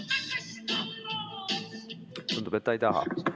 Tundub, et ta ei taha.